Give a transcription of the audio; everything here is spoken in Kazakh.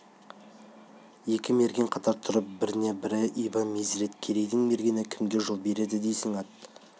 екі мерген қатар тұрып біріне бірі иба-мезірет керейдің мергені кімге жол береді дейсің ат